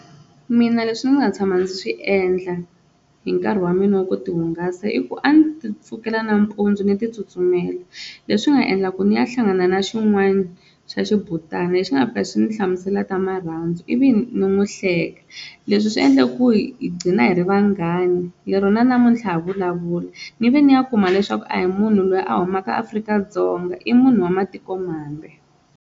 Mina leswi ndzi nga tshama ndzi swi endla hi nkarhi wa mina wa ku ti hungasa i ku a ni ti pfukela nampundzu ni ti tsutsumela leswi nga endla ku ni ya hlangana na xin'wani xa xibutana lexi nga fika xi ndzi hlamusela ta marhandzu ivi ni n'wi hleka, leswi swi endle ku hi gcina hi ri vanghani lero na namuntlha ha vulavula, ni ve ni ya kuma leswaku a hi munhu loyi a humaka Afrika-Dzonga i munhu wa matikomambe.